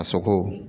A soko